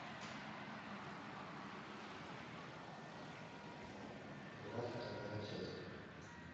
брат вторая часть